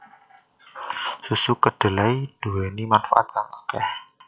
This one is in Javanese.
Susu kedelai nduweni manfaat kang akeh